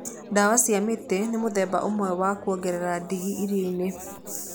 Ndawa cia mĩtĩ nĩ mũthemba ũmwe wa kwongerera ndigi irio-inĩ.